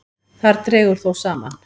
Þar dregur þó saman.